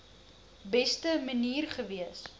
beste manier gewees